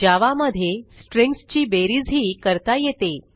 जावा मध्ये स्ट्रिंग्ज ची बेरीजही करता येते